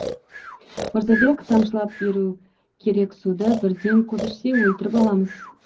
мырзабек тамшылап беру керек суды бірден көп ішсе өлтіріп аламыз